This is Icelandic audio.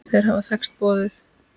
Þeir hafa þekkst boðið.